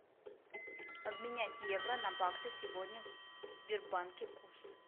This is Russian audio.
обменять евро на баксы сегодня в сбербанке курс